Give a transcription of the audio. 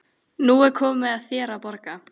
Nú er komið að þér að borga.